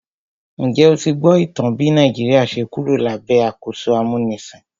Njẹ́ o ti gbọ́ ìtàn bí Nàìjíríà ṣe Kúrò lábẹ́ àkóso amúnisìn?